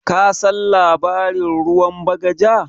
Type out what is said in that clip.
Kasan labarin ruwan bagaja?